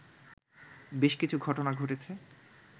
বেশ কিছু ঘটনা ঘটেছে